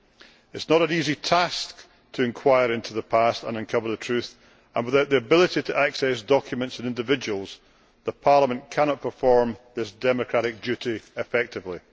It is not an easy task to inquire into the past and uncover the truth, and, without the ability to access documents and individuals, Parliament cannot perform this democratic duty effectively.